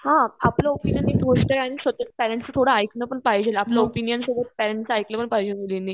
पेरेंट्सच थोडं ऐकलं पण पाहिजे आपल्या ओपिनियन सोबत पॅरेंट्सचं ऐकलंपण पाहिजे मुलींनी.